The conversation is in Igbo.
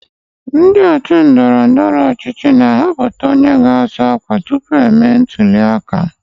Ndị otu ndọrọ ndọrọ ọchịchị na-ahọpụta onye ga-azọ ọkwa tupu emee ntụli aka.